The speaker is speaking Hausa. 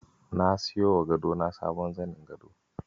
Na siyowa gadona sabon zanin gado.